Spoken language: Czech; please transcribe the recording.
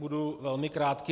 Budu velmi krátký.